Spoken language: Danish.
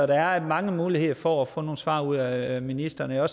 der er mange muligheder for at få nogle svar ud af ministeren og jeg er